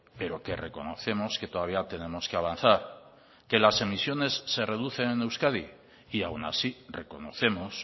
pero que reconocemos que todavía tenemos que avanzar que las emisiones se reducen en euskadi y aun así reconocemos